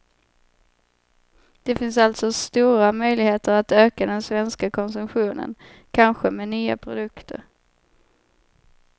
Det finns alltså stora möjligheter att öka den svenska konsumtionen, kanske med nya produkter.